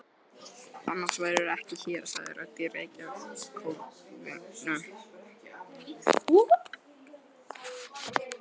Annars værirðu ekki hér, sagði rödd í reykjarkófinu.